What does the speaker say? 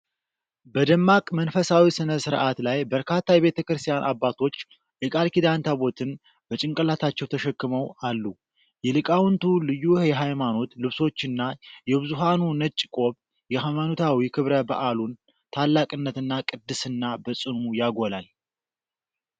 በደማቅ መንፈሳዊ ሥነ ሥርዓት ላይ በርካታ የቤተክርስቲያን አባቶች የቃል ኪዳን ታቦታትን በጭንቅላታቸው ተሸክመው አሉ። የሊቃውንቱ ልዩ የሃይማኖት ልብሶችና የብዙኃኑ ነጭ ቆብ የሃይማኖታዊ ክብረ በዓሉን ታላቅነትና ቅድስና በጽኑ ያጎላል።